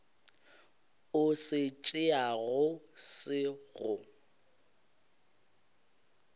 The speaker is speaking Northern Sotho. o se tšeago se go